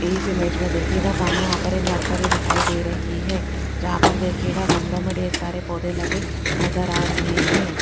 इस इमेज में देखियेगा सामने यहां पर एक नर्सरी दिखाई दे रही है जहां पर दिखीयेगा गमलो में ढेर सारे पौधे लगे नजर आ रहे हैं।